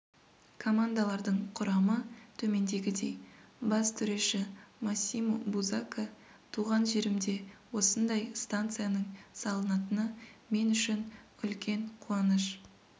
командалардың құрамы төмендегідей бас төреші массимо бузакка туған жерімде осындай станцияның салынатыны мен үшін үлкен қуаныш